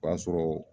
O y'a sɔrɔ